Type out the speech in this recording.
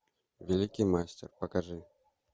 великий мастер покажи